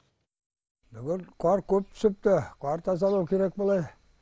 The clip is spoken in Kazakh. бүгін қар көп түсіпті қар тазалау керек былай